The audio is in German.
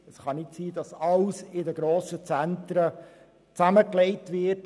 Es kann nicht sein, dass alles in den grossen Zentren zusammengelegt wird.